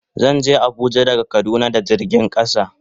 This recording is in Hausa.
Zan je Abuja daga kaduna da jirgin kasa.